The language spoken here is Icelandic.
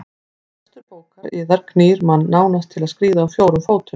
Lestur bókar yðar knýr mann nánast til að skríða á fjórum fótum.